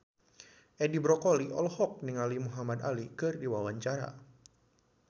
Edi Brokoli olohok ningali Muhamad Ali keur diwawancara